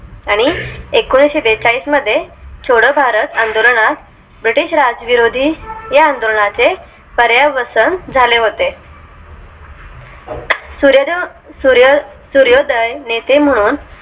आणि एकोणीशेबेचाळीस मध्ये छोडो भारत आंदोलनात british राज विरोधी या आंदोलना चे पर्या वसन झाले होते सूर्योदय नेते म्हणून आणि